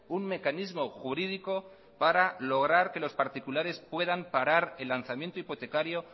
un mecanismo jurídico para lograr que los particulares puedan parar el lanzamiento hipotecario